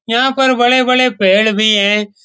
यहाँ पर बड़े-बड़े पेड़ भी हैं।